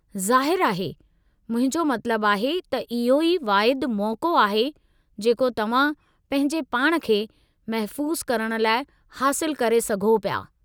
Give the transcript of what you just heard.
ज़ाहिरु आहे। मुंहिंजो मतिलबु आहे त इहो ई वाहिदु मौक़ो आहे जेको तव्हां पंहिंजे पाण खे महफ़ूज़ु करणु लाइ हासिलु करे सघो पिया।